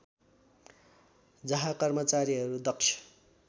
जहाँ कर्मचारीहरू दक्ष